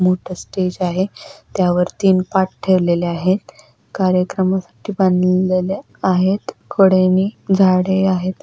मोठं स्टेज आहे त्यावर तीन पाट ठेवलेलं आहे कार्यक्रमासाठी बांधलेले आहेत कडेनी झाडे आहेत.